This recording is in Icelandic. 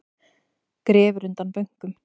Grefur undan bönkum